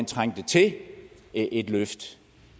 trængte til et løft